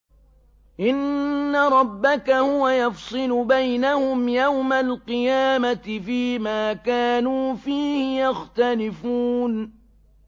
إِنَّ رَبَّكَ هُوَ يَفْصِلُ بَيْنَهُمْ يَوْمَ الْقِيَامَةِ فِيمَا كَانُوا فِيهِ يَخْتَلِفُونَ